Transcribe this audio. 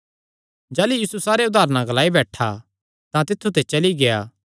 जाह़लू यीशु सारे उदारण ग्लाई बैठा तां तित्थु ते चली गेआ